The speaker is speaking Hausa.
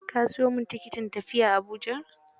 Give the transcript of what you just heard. Ka siyo min tikitin tafiya Abujar?